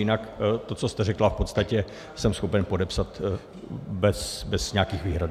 Jinak to, co jste řekla, v podstatě jsem schopen podepsat bez nějakých výhrad.